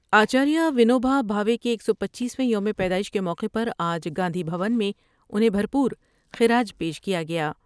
آچار یدونو بھ بھاوے کے ایک سو پنچیس میں یوم پیدائش کے موقع پر آج گاندھی بھون میں انھیں بھر پور خراج پیش کیا گیا ۔